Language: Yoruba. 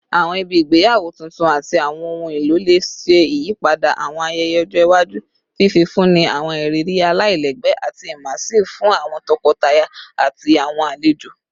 Awọn ibi igbeyawo tuntun ati awọn ohun elo le ṣe iyipada awọn ayẹyẹ ọjọ iwaju, fifunni awọn iriri alailẹgbẹ ati immersive fun awọn tọkọtaya ati awọn alejo